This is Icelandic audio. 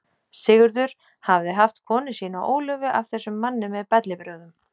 Sigurður hafði haft konu sína Ólöfu af þessum manni með bellibrögðum.